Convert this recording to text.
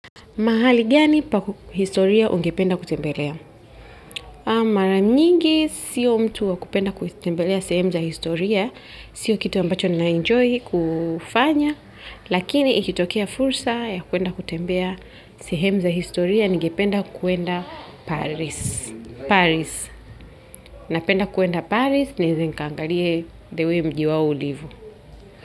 Mahali gani pa historia ungependa kutembelea? Maranyingi sio mtu wa kupenda kutembelea sehemu za historia, sio kitu ambacho naenjoy kufanya, lakini ikitokea fursa ya kuenda kutembea sehemu za historia, ningependa kuenda. Paris. Paris, napenda kuenda Paris nieze nikaangalie the way mji wao ulivo.